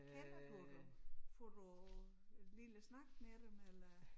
Kender du dem får du en lille snak med dem eller